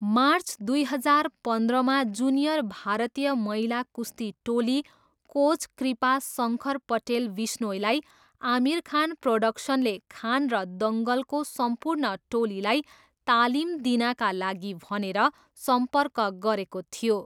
March दुई हजार पन्ध्रमा जुनियर भारतीय महिला कुस्ती टोली कोच कृपा शङ्कर पटेल बिश्नोईलाई आमिर खान प्रोडक्सनले खान र दङ्गलको सम्पूर्ण टोलीलाई तालिम दिनाका लागि भनेर सम्पर्क गरेको थियो।